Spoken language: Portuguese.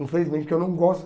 Infelizmente, que eu não gosto.